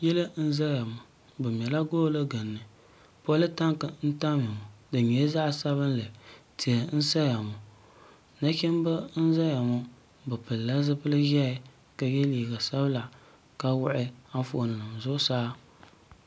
yili n zaya ŋɔ bɛ mɛla goni gili poli tanki n tamiya ŋɔ di nyɛla zaɣ' sabinli tihi n saya ŋɔ nachimba n zaya ŋɔ be pɛlila zibili ʒiɛhi ka yɛ liga sabinla ka wuɣi anƒɔni nima zuɣ' saa